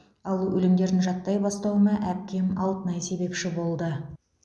ал өлеңдерін жаттай бастауыма әпкем алтынай себепші болды